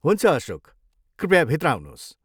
हुन्छ अशोक, कृपया भित्र आउनुहोस्।